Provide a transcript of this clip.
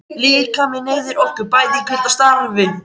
Líkaminn eyðir orku, bæði í hvíld og starfi.